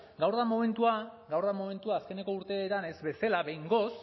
gaur da momentua gaur da momentua azkeneko urteetan ez bezala behingoz